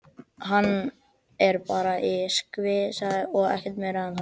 Hann er bara í skvassi og ekkert meira með það.